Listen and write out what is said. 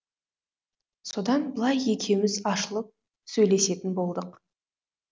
содан былай екеуіміз ашылып сөйлесетін болдық